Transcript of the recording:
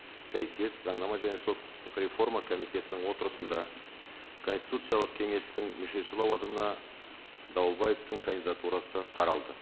сәйкес заңнама және сот құқықтық реформа комитетінің отырысында конституциялық кеңестің мүшесі лауазымына дауылбаевтың кандидатурасы қаралды